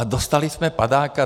A dostali jsme padáka.